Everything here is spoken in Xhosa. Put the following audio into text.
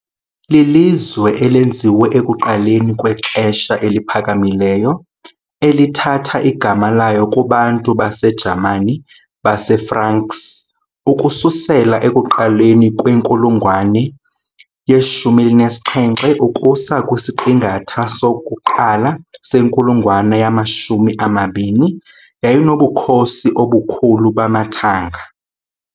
Lilizwe elenziwe ekuqaleni kweXesha eliPhakamileyo eliPhakamileyo, elithatha igama layo kubantu baseJamani baseFranks. Ukususela ekuqaleni kwenkulungwane ye-17 ukusa kwisiqingatha sokuqala senkulungwane yama-20, yayinobukhosi obukhulu bamathanga .